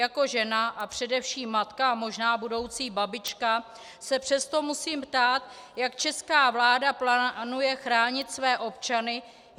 Jako žena a především matka a možná budoucí babička se přesto musím ptát, jak česká vláda plánuje chránit své občany.